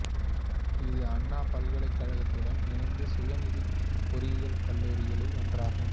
இது அண்ணா பல்கலைக்கழகத்துடன் இணைந்த சுயநிதி பொறியியல் கல்லூரிகளில் ஒன்றாகும்